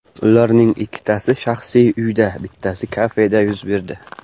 Ularning ikkitasi shaxsiy uyda, bittasi kafeda yuz berdi.